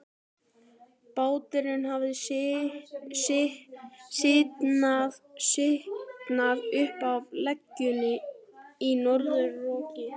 Báturinn hafði slitnað upp af legunni í norðanroki.